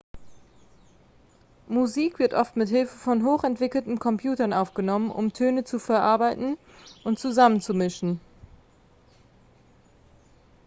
musik wird oft mit hilfe von hochentwickelten computern aufgenommen um töne zu verarbeiten und zusammenzumischen